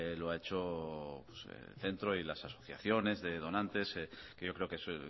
lo ha hecho el centro y las asociaciones de donantes que yo creo que eso